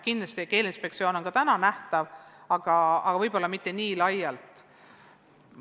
Kindlasti on Keeleinspektsioon ka praegu nähtav, aga võib-olla mitte nii laialt.